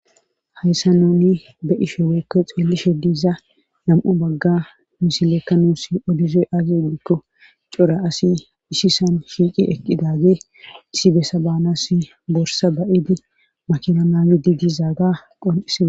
hayssa nuni be'ishe weekke xeellishe diiza nam7o bagga misileekka nuus odizoy aazi odikko cora asi ishisan shiiqi eqqidage isi bessa baanasi borsa ba7idi makina maayidi dizaaga qol7isada